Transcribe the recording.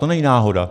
To není náhoda.